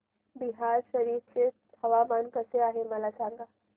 बिहार शरीफ चे हवामान कसे आहे मला सांगा